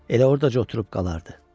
Elə ordaca oturub qalardı.